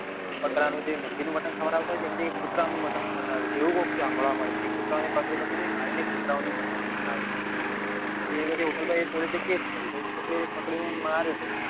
બકરાનું જે મુર્ગીનું મટન ખવડાવતા હોય ને એની જગ્યાય કુતરા નું મટન ખવડાવે છે એવું કોક સાંભળવા મળ્યું તું કે કુતરા ને પકડી પકડી ને મારીને કુતરાઓ મટન ખવડાવે છે. એ બધી હોટેલ પર એ police એ case કર્યો તો કોઈક ને પકડીને માર્યો ને